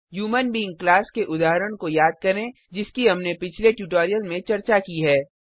human being class के उदाहरण को याद करें जिसकी हमने पिछले ट्यूटोरियल में चर्चा की है